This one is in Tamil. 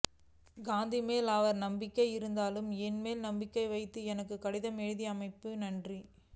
காந்திமேல் அவநம்பிக்கை இருந்தாலும் என்மேல் நம்பிக்கை வைத்து எனக்கு கடிதம் எழுதியமைக்கு நன்றி